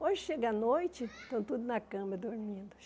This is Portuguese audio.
Hoje chega a noite, estão tudo na cama dormindo.